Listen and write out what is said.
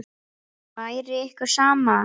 Væri ykkur sama?